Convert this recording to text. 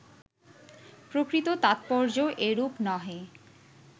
প্রকৃত তাৎপর্য্য এরূপ নহে